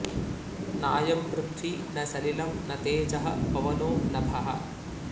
नायं पृथ्वी न सलिलं न तेजः पवनो नभः